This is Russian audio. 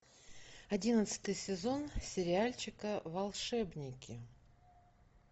одиннадцатый сезон сериальчика волшебники